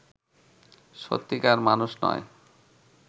সত্যিকার মানুষ নয়